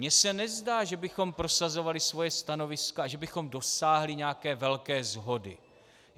Mně se nezdá, že bychom prosazovali svoje stanoviska a že bychom dosáhli nějaké velké shody.